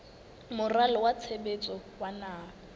moralo wa tshebetso wa naha